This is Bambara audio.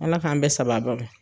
Ala k'an bɛn sababa ma.